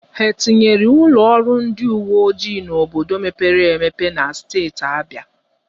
Ha etinyere ụlọ ọrụ ndị uwe ojii n'obodo mepere emepe na steeti Abịa?